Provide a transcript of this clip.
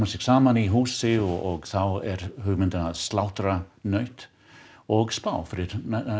saman í húsi og þá er hugmyndin að slátra nauti og spá fyrir